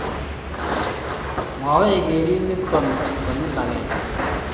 makwech kerib nitok konyil agenge